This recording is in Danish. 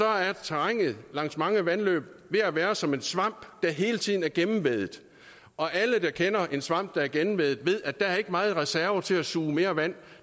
er terrænet langs mange vandløb ved at være som en svamp der hele tiden er gennemvædet og alle der kender en svamp der er gennemvædet ved at der ikke er meget reserve til at suge mere vand